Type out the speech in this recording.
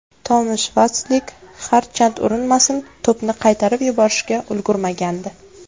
Tomash Vatslik harchand urinmasin to‘pni qaytarib yuborishga ulgurmagandi.